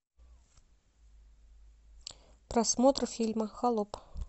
просмотр фильма холоп